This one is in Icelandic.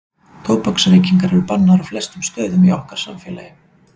tóbaksreykingar eru bannaðar á flestum stöðum í okkar samfélagi